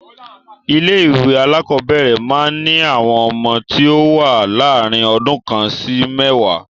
Ilé ìwé alákọ̀ọ́bẹ̀rẹ̀ máa ń ní àwọn ọmọ tí o wá láàrin ọdún kan sí mẹ́ẹ̀wá.